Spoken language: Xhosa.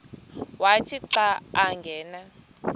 wathi xa angena